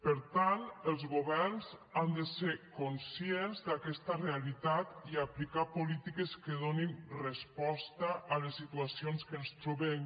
per tant els governs han de ser conscients d’aquesta realitat i aplicar polítiques que donin resposta a les situacions que ens trobem